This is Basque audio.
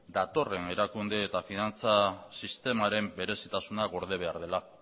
datorren erakunde eta finantza sistemaren berezitasuna gorde behar dela